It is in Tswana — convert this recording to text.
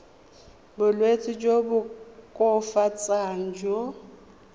bolwetsi jo bo koafatsang jo